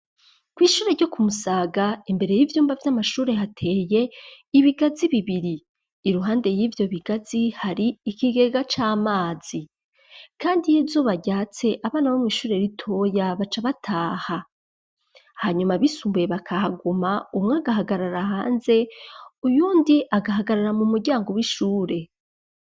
ku ishure ryo ku Musaga imbere y'ivyumba vy'amashure hateye ibigazi bibiri iruhande y'ivyo bigazi hari ikigega c'amazi kandi iyo izuba ryatse abana bo mw'ishure ritoya baca bataha hanyuma abisumbuye bakahaguma umwe agahagarara hanze uyundi agahagarara mu muryango w'ishure.